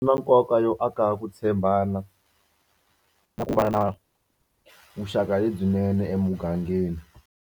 Swi na nkoka yo aka ku tshembana na ku va na vuxaka lebyinene emugangeni.